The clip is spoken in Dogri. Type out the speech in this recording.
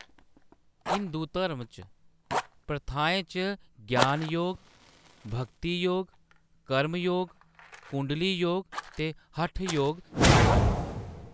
हिंदू धर्म च, प्रथाएं च ज्ञान योग, भगती योग, कर्म योग, कुंडली योग ते हठ योग शामल न।